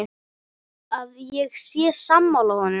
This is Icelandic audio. Að ég sé sammála honum.